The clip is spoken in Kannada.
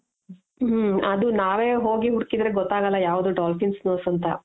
ಹ್ಮ ಅದು ನಾವೇ ಹೋಗಿ ಹುಡುಕಿದ್ರೆ ಗೊತ್ತಾಗಲ್ಲ ಯಾವ್ದು dolphin nose ಅಂತ .